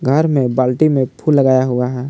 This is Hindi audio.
घर में बाल्टी में फूल लगाया हुआ है।